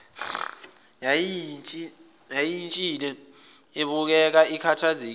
yayishintshile ibukeka ikhathazekile